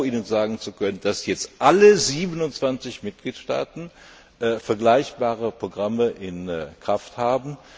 Ich bin froh, Ihnen sagen zu können, dass jetzt alle 27 Mitgliedstaaten vergleichbare Programme in Kraft haben.